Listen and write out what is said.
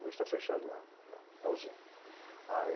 Hoje tá fechado lá, a usina.